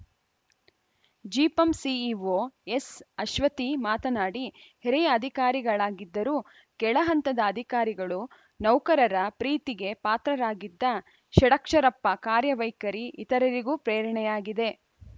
ಜಿಪಂ ಸಿಇಓ ಎಸ್‌ಅಶ್ವತಿ ಮಾತನಾಡಿ ಹಿರಿಯ ಅಧಿಕಾರಿಗಳಾಗಿದ್ದರೂ ಕೆಳಹಂತದ ಅಧಿಕಾರಿಗಳು ನೌಕರರ ಪ್ರೀತಿಗೆ ಪಾತ್ರರಾಗಿದ್ದ ಷಡಕ್ಷರಪ್ಪ ಕಾರ್ಯ ವೈಖರಿ ಇತರರಿಗೂ ಪ್ರೇರಣೆಯಾಗಿದೆ